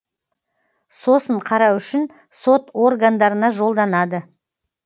сосын қарау үшін сот органдарына жолданады